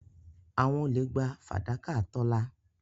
Àwọn olè gba fàdákà Tọ́lá.